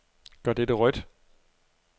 Gør dette rødt.